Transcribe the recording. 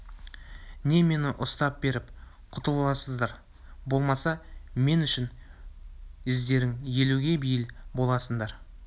не мені ұстап беріп құтыласыңдар болмаса мен үшін ездерің елуге бейіл боласыңдар